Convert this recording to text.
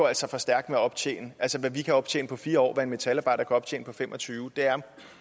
altså for stærkt med at optjene altså at vi kan optjene på fire år hvad en metalarbejder kan optjene på fem og tyve